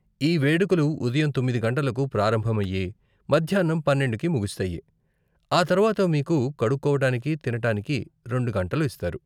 ఈ వేడుకలు ఉదయం తొమ్మిది గంటలకు ప్రారంభమయ్యి, మధ్యాన్నం పన్నెండుకి ముగుస్తాయి, ఆ తర్వాత మీకు కడుక్కోవటానికి, తినటానికి రెండు గంటలు ఇస్తారు.